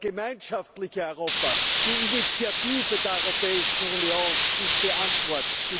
Das gemeinschaftliche Europa, die Initiative der Europäischen Union ist die Antwort.